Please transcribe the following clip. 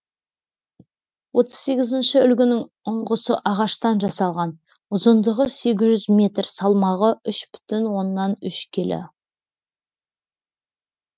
отыз сегізінші үлгінің ұңғысы ағаштан жасалған ұзындығы сегіз жүз метр салмағы үш бүтін оннан үш келі